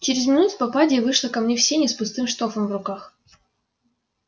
через минуту попадья вышла ко мне в сени с пустым штофом в руках